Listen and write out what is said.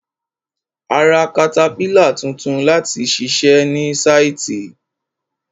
A ra katapílà tuntun láti ṣiṣẹ ní sáìtì.